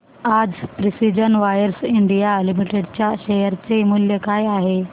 आज precision wires India limited च्या share चे मूल्य काय आहे